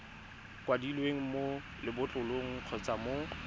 kwadilweng mo lebotlolong kgotsa mo